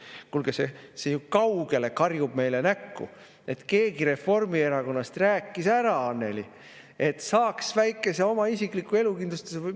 " Kuulge, see ju kaugelt karjub meile näkku, et keegi Reformierakonnast rääkis ära Annely, et saaks väikese oma isikliku elukindlustuse.